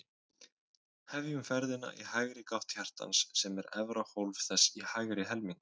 Hefjum ferðina í hægri gátt hjartans, sem er efra hólf þess í hægri helmingnum.